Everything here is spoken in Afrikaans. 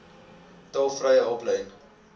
tolvrye hulplyn